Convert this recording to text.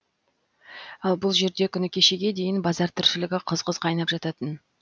ал бұл жерде күні кешеге дейін базар тіршілігі қыз қыз қайнап жататын